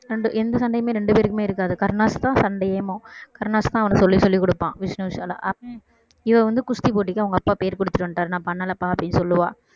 அந்த எந்த சண்டையுமே ரெண்டு பேருக்குமே இருக்காது கருணாஸ்தான் சண்டையேவும் கருணாஸ்தான் அவனுக்கு சொல்லி சொல்லிக் கொடுப்பான் விஷ்ணு விஷாலா அவ்~ இவள் வந்து குஸ்தி போட்டிக்கு அவங்க அப்பா பெயர் கொடுத்துட்டு வந்துட்டாரு நான் பண்ணலப்பா அப்படின்னு சொல்லுவா